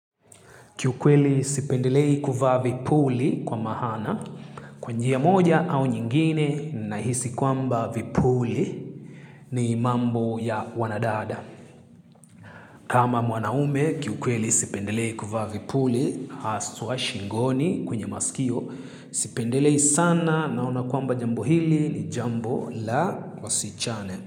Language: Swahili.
Kiukweli sipendelei kuvaa vipuli kwa maana, kwa njia moja au nyingine nahisi kwamba vipuli ni mambo ya wanadada. Kama mwanaume, kiukweli sipendelei kuvaa vipuli, haswa shingoni kwenye masikio, sipendelei sana naona kwamba jambo hili ni jambo la wasichane.